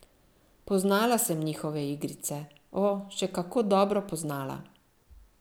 Poznala sem njihove igrice, o, še kako dobro poznala!